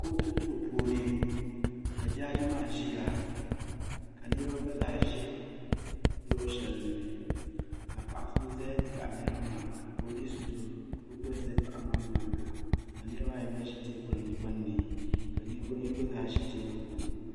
kootu duu puuni ka jaaji maa ka niriba gba zaa ʒi luɣ'shɛli ni ka paɣ' so ʒe m-baɣi niriba maa ka polinsi doo ka o gba ʒi paɣa maa nyaaga ka niriba ayi gba ʒi teebuli gbunni ka ninvuɣ' yini gba zaa ʒi teebuli gbunni.